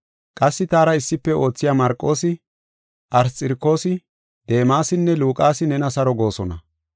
Qassi taara issife oothiya Marqoosi, Arsxirokoosi, Deemasinne Luqaasi nena saro goosona.